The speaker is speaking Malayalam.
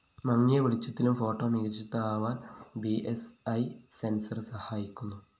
മങ്ങിയ വെളിച്ചത്തിലും ഫോട്ടോ മികച്ചതാവാന്‍ ബി സ്‌ ഇ സെൻസർ സഹായിക്കുന്നു